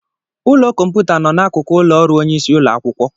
Ụlọ kọmputa nọ n'akụkụ ụlọ ọrụ onyeisi ụlọ akwụkwọ.